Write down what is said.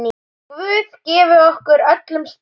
Guð gefi okkur öllum styrk.